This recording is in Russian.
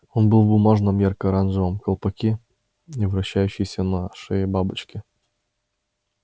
он был в бумажном ярко-оранжевом колпаке и вращающейся на шее бабочке